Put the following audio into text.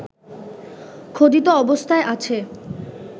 খোদিত অবস্থায় আছে